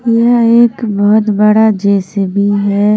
यह एक बहुत बड़ा जेसीबी है।